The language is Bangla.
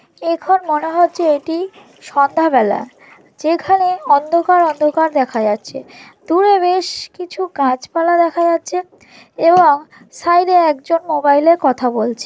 এখন মনে হচ্ছে এটি সন্ধ্যা বেলা যেখানে অন্ধকার অন্ধকার দেখা যাচ্ছে দূরে বেশ কিছু গাছপালা দেখা যাচ্ছে এবং সাইড -এ একজন মোবাইল -এ কথা বলছে।